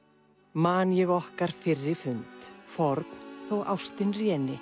man ég okkar fyrri fund forn þó ástin